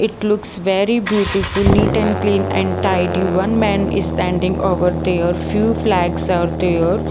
it looks very beautiful neat and clean and tidy one man is standing over there few flags are there.